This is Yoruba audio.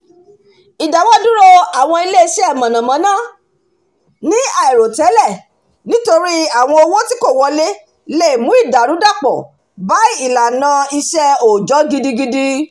ìdáwọ́-iṣẹ́-dúró àwọn ilé-iṣẹ́ mànnàmánná ní àìròtẹ́lẹ̀ nítorí àwọn owó tí kò wọlé le mú ìdàrúdàpọ̀ bá ìlànà iṣẹ́ òòjọ́ gidigidi